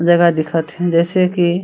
जगह दिखत हे जइसे की--